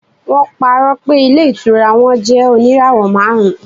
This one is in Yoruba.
wọn parọ pé ilé ìtura won jẹ oníràwò marun